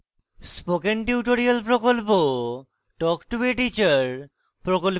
spoken tutorial প্রকল্প talk to a teacher প্রকল্পের অংশবিশেষ